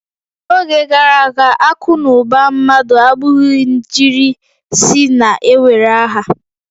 N'oge gara aga, akụ na ụba mmadụ abụghị njirisi na-ewere aha